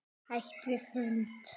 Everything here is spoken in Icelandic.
Hætt við fund?